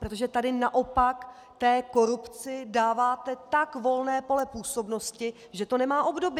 Protože tady naopak té korupci dáváte tak volné pole působnosti, že to nemá obdoby.